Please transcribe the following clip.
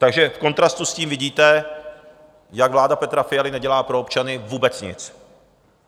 Takže v kontrastu s tím vidíte, jak vláda Petra Fialy nedělá pro občany vůbec nic.